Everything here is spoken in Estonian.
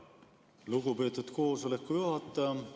Lugupeetud koosoleku juhataja!